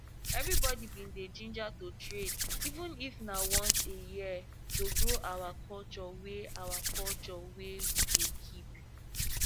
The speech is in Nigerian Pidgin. everybody bin dey ginger to trade even if na once for a year to grow our culture wey our culture wey we dey keep